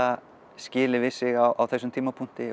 skilið við sig á þessum tímapunkti